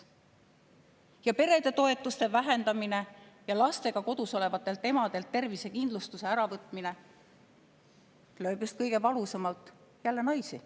Ja perede toetuste vähendamine ja lastega kodus olevatelt emadelt tervisekindlustuse äravõtmine lööb kõige valusamalt jälle naisi.